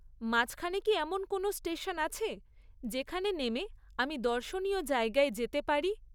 মাঝখানে কি এমন কোনও স্টেশন আছে যেখানে নেমে আমি দর্শনীয় জায়গায় যেতে পারি?